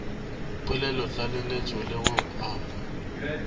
polelotlaleletšo le go a go